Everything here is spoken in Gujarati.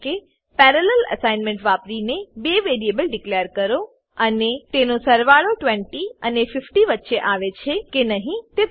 પેરાલેલ અસાઇનમેન્ટ વાપરીને બે વેરીએબલ ડીકલેર કરો અને અને તેનો સરવાળો 20 અને 50 વચ્ચે આવે છે કે નહી તે તપાસો